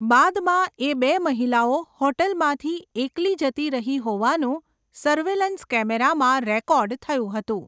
બાદમાં, એ બે મહિલાઓ હોટલમાંથી એકલી જતી રહી હોવાનું સર્વેલન્સ કેમેરામાં રેકોર્ડ થયું હતું.